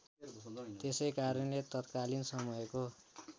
त्यसैकारणले तात्कालीन समयको